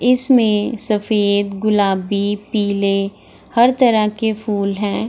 इसमें सफदे गुलाबी पीले हर तरह के फूल हैं।